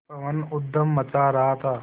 पवन ऊधम मचा रहा था